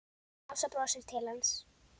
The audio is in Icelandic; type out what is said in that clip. Ása brosir til hans.